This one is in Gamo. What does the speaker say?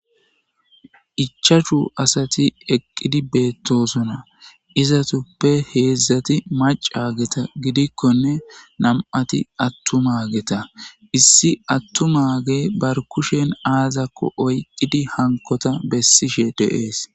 Ichashu asati eqqidi beettosona izatuppe heedzdzati macageta gidikkonne nam7ati attumageta issi attumage bar kushen aazakko oyqqidi hankota bessishe deees.